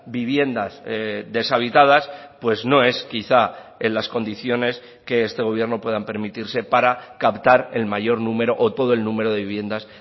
viviendas deshabitadas pues no es quizá en las condiciones que este gobierno puedan permitirse para captar el mayor número o todo el número de viviendas